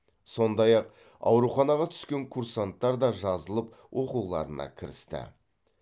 сондай ақ ауруханаға түскен курсанттар да жазылып оқуларына кірісті